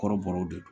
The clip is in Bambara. Kɔrɔbɔrɔw de